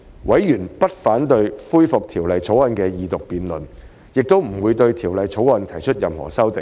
委員不反對恢復《條例草案》的二讀辯論，亦不會對《條例草案》提出任何修正案。